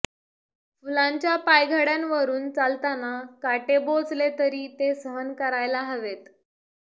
फुलांच्या पायघड्यावरून चालताना काटे बोचले तरी ते सहन करायला हवेत